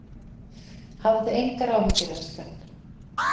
Hafðu engar áhyggjur elskan.